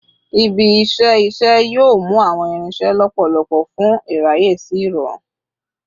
Ibi-iṣẹ iṣẹ yoo mu awọn irinṣẹ lọpọlọpọ fun iraye si irọrun